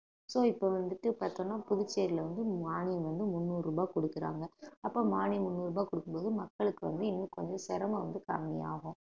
so இப்ப வந்துட்டு பார்த்தோம்னா புதுச்சேரியில வந்து மானியம் வந்து முன்னூறு ரூபாய் குடுக்கறாங்க அப்ப மானியம் முந்நூறு ரூபாய் கொடுக்கும் போது மக்களுக்கு வந்து இன்னும் கொஞ்சம் சிரமம் வந்து கம்மியாகும்